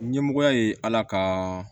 Ɲɛmɔgɔ ye ala ka